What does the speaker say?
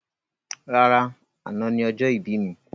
Rárá, àna ni ọjọ́ ìbí mi.